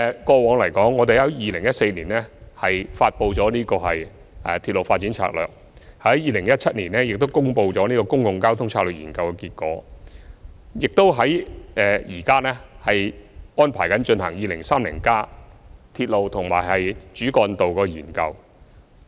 過往，我們在2014年發布了《鐵路發展策略2014》；在2017年亦公布了《公共交通策略研究》的結果；現時亦安排進行《跨越2030年的鐵路及主要幹道策略性研究》。